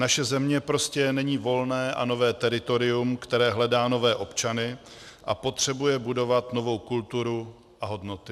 Naše země prostě není volné a nové teritorium, které hledá nové občany a potřebuje budovat novou kulturu a hodnoty.